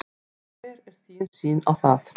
Hver er þín sýn á það?